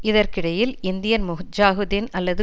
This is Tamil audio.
இதற்கிடையில் இந்தியன் முஜாஹிதீன் அல்லது